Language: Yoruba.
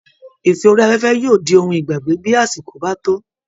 Ìfẹ́ orí afẹ́fẹ́ yóò di ohun ìgbàgbé bí àsìkò bá tó